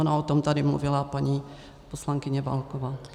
Ona o tom tady mluvila paní poslankyně Válková.